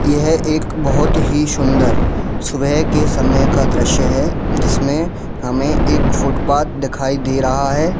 यह एक बहुत ही सुंदर सुबह के समय का दृश्य है जिसमें हमें एक फुटपाथ दिखाई दे रहा है।